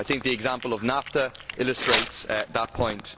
I think the example of NAFTA illustrates that point.